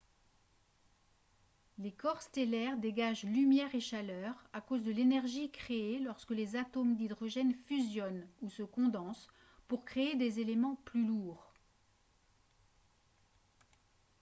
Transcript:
les corps stellaires dégagent lumière et chaleur à cause de l'énergie créée lorsque les atomes d'hydrogène fusionnent ou se condensent pour créer des éléments plus lourds